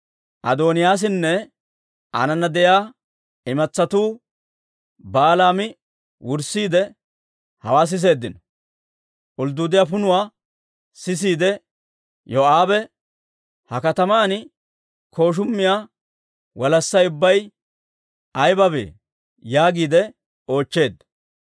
Adooniyaasinne aanana de'iyaa imatsatuu baalaa mi wurssiidde hawaa siseeddino. Uluduuddiyaa punuwaa sisiide Yoo'aabe, «Ha kataman kooshumiyaa walassay ubbay aybabee?» yaagiide oochcheedda.